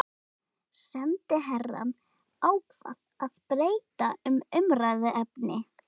Sendiherrann ákvað að breyta um umræðuefni.